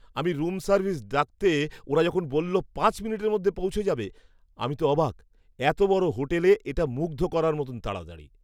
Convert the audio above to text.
আমি room service ডাকতে ওরা যখন বলল পাঁচ মিনিটের মধ্যে পৌঁছে যাবে, আমি তো অবাক! এতো বড় হোটেলে এটা মুগ্ধ করার মতো তাড়াতাড়ি!